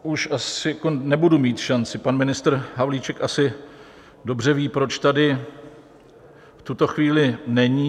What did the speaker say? Už asi nebudu mít šanci, pan ministr Havlíček asi dobře ví, proč tady v tuto chvíli není.